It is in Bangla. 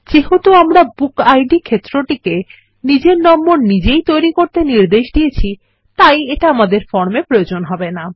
যেহেতু আমরা বুকিড ক্ষেত্রটিকে নিজের নম্বর নিজেই তৈরী করতে নির্দেশ দিয়েছি তাই এটা ফর্মে প্রয়োজন হবে না